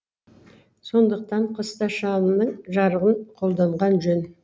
сондықтан қыста шамның жарығын қолданған жөн